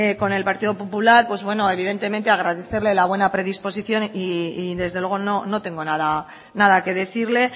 con el partido popular pues bueno evidentemente agradecerle la buena predisposición y desde luego no tengo nada que decirle